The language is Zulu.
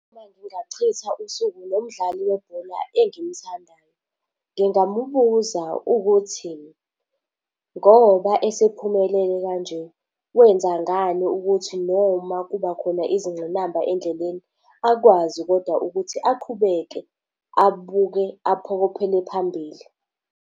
Uma ngingachitha usuku nomdlali webhola engimthandayo, ngingamubuza ukuthi ngoba esephumelele kanje, wenza ngani ukuthi noma kuba khona izingqinamba endleleni akwazi kodwa ukuthi aqhubeke abuke aphokophele phambili.